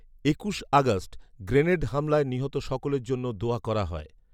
একুশ August grenade হামলায় নিহত সকলের জন্য দোয়া করা হয়